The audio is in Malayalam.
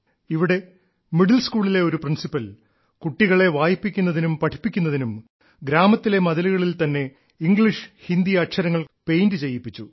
ഇവിടെ മിഡിൽ സ്കൂളിലെ ഒരു പ്രിൻസിപ്പൽ കുട്ടികളെ വായിപ്പിക്കുന്നതിനും പഠിപ്പിക്കുന്നതിനും ഗ്രാമത്തിലെ മതിലുകളിൽ തന്നെ ഇംഗ്ലീഷ് ഹിന്ദി അക്ഷരങ്ങൾ കൊണ്ട് പെയിന്റ് ചെയ്യിപ്പിച്ചു